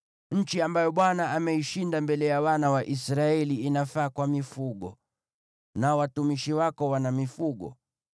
nchi ambayo Bwana ameishinda mbele ya wana wa Israeli, inafaa kwa mifugo, nao watumishi wako wana mifugo.